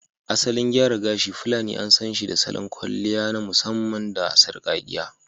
Asalin gyara gashi fulani an sanshi da salon kwalliya na musamman da sarƙakkiya